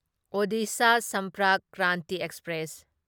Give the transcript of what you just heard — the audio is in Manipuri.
ꯑꯣꯗꯤꯁꯥ ꯁꯝꯄꯔꯛ ꯀ꯭ꯔꯥꯟꯇꯤ ꯑꯦꯛꯁꯄ꯭ꯔꯦꯁ